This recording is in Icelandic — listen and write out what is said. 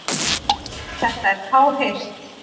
Þetta er fáheyrt.